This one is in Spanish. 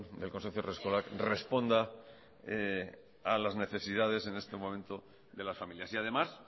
del consorcio haurreskolak responda a las necesidades en este momento de las familias y además